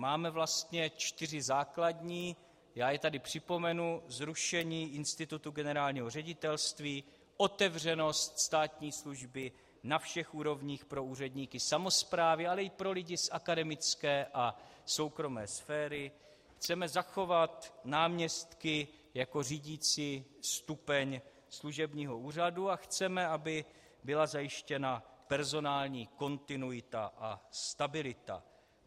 Máme vlastně čtyři základní, já je tady připomenu - zrušení institutu generálního ředitelství, otevřenost státní služby na všech úrovních pro úředníky samosprávy, ale i pro lidi z akademické a soukromé sféry, chceme zachovat náměstky jako řídicí stupeň služebního úřadu a chceme, aby byla zajištěna personální kontinuita a stabilita.